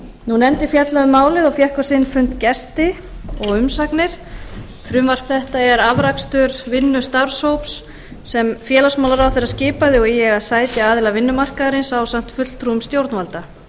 nefndin fjallaði um málið og fékk á sinn fund gesti og umsagnir frumvarp þetta er afrakstur vinnu starfshóps sem félagsmálaráðherra skipaði og í eiga sæti aðilar vinnumarkaðarins ásamt fulltrúum stjórnvalda